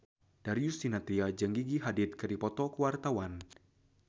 Darius Sinathrya jeung Gigi Hadid keur dipoto ku wartawan